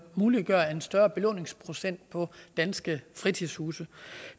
muliggøre en større belåningsprocent på danske fritidshuse